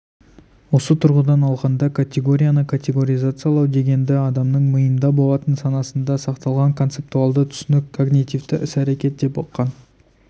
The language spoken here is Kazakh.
осы тұрғыдан алғанда категорияны категоризациялау дегенді адамның миында болатын санасында сақталған концептуалды түсінік когнитивті іс-әрекет деп ұққан